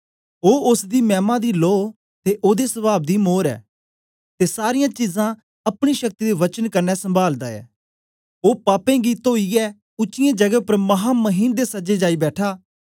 ओ ओसदी मैमा दी लो ते ओदे सवाव दी मोर ऐ ते सारीयां चीजां अपनी शक्ति दे वचन कन्ने संभालदा ऐ ओ पापें गी तोईयै उच्चीयें जगें उपर महामहीमन दे सज्जे जाई बैठा